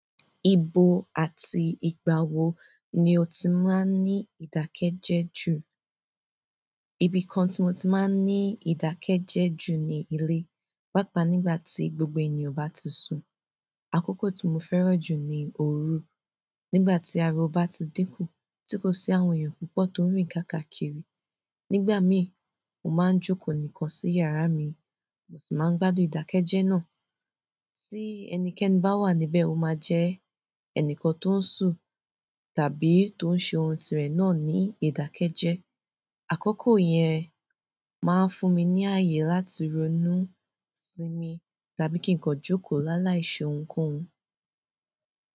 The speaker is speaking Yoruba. Ibo àti ìgbà wo ni o ti máa ń ní ìdákẹ́jẹ́ jù? Ibìkan ti mo ti maa n idake je ju ni ile pàápàá nígbà tí gbogbo ènìyàn ba ti sun àkókò tí mo fẹ́ràn jù ni òru, nígbà tí ariwọ bá ti dínkù, tí kò sí àwọn èèyàn púpọ̀ tó ń rìn káàkaakiri. Nígbà mí, mo máa ń jókòó nìkan sí yàrá mi, mo sì máa ń gbádùn ìdákẹ́jẹ́ náà. Sí ẹnikẹ́ni bá wà níbẹ̀, ó máa jẹ́ ẹnìkan tó ń sù tàbí tó ń ṣe ohun tirẹ̀ náà ní ìdákẹ́jẹ́. Àkókò yẹn máa ń fún mi ní ààyè láti ronú sí mi tàbí kí n kọ jókòó lálàíṣòhun kohun.